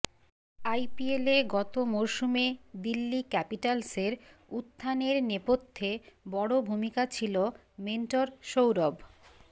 আইপিএলে গত মরসুমে দিল্লি ক্যাপিটালসের উত্থানের নেপথ্যে বড় ভূমিকা ছিল মেন্টর সৌরভ